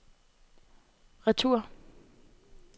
retur